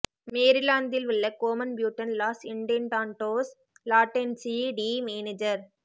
மேரிலாந்தில் உள்ள கோமன் ப்யூடென் லாஸ் இண்ட்டேடான்டோஸ் லாட்டென்சீ டி மேனஜர்